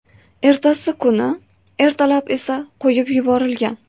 Ertasi kuni ertalab esa qo‘yib yuborilgan.